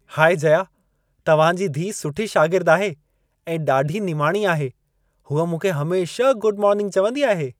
High Jaya, तव्हां जी धीअ सुठी शागिर्द आहे ऐं ॾाढी निमाणी आहे। हूअ मूंखे हमेशह गुड मोर्निंग चवंदी आहे।